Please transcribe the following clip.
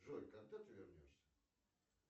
джой когда ты вернешься